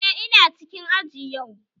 Eh, ina cikin aji yau